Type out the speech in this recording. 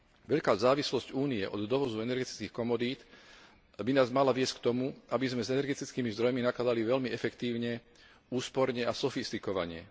Veľká závislosť Únie od dovozu energetických komodít by nás mala viesť k tomu, aby sme s energetickými zdrojmi nakladali veľmi efektívne, úsporne a sofistikovane.